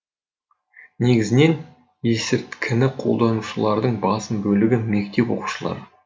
негізінен есірткіні қолданушылардың басым бөлігі мектеп оқушылары